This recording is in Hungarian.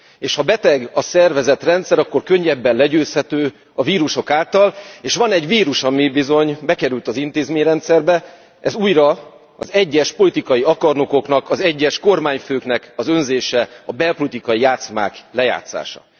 És ha beteg a szervezetrendszer, akkor könnyebben legyőzhető a vírusok által, és van egy vírus, ami bizony bekerült az intézményrendszerbe, ez újra az egyes politikai akarnokoknak, az egyes kormányfőknek az önzése, a belpolitikai játszmák lejátszása.